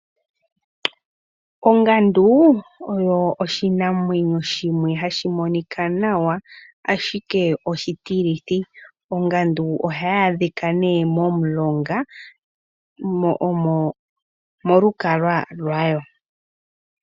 Ongandu oyo oshinamwenyo shimwe hashi monika nawa ashike oshitilithi ongandu ohayi adhika nee momulonga mo omo molukalwa lwayo.